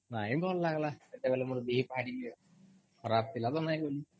ନାଇଁ ଭଲ୍ ଲାଗିଲା ସେତେବେଲେ ମୋର ଦିହି ଭାରି ଖରାପ୍ ଥିଲା ତ ମୁଇଁ ନାଇଁ ଗଲି